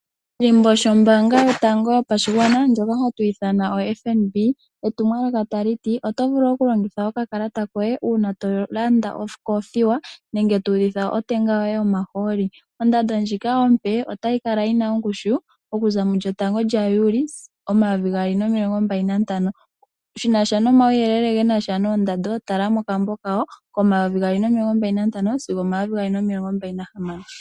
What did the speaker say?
Oshilimbo shombaanga yotango yopashigwana shoka hatu shi ithana oFNB, oyina etumwalaka tali ti, oto vulu okulongitha okakalata koye uuna tolanda okoofiwa nenge tuudhitha otenga yoye yomahooli. Ondando ndjika ompe otayi kala yina ongushu okuza 1 Juli 2025. Shinasha nomauyelele genasha noondando tala mokambo kawo ko2025 sigo 2026.